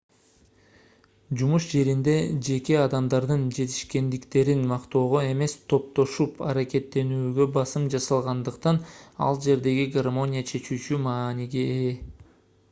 жумуш жеринде жеке адамдардын жетишкендиктерин мактоого эмес топтошуп аракеттенүүгө басым жасалгандыктан ал жердеги гармония чечүүчү мааниге ээ